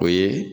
O ye